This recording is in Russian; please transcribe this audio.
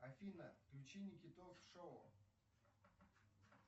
афина включи никитос шоу